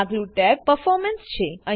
આગલું ટેબ Performanceછે